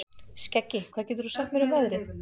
Skeggi, hvað geturðu sagt mér um veðrið?